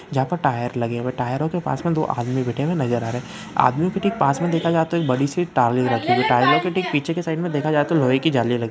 जहाँ पर टायर लगे हुए टायरो के पास में दो आदमी बैठे हुए नजर आ रहे हैं अदमीयों के ठीक पास में देखा जाऐ तो एक बड़ी सी टाईलों रखी हुई है। टाईलों के ठीक पीछे के साईड में देखा जाए तो लोहै की जलियाँ लगी--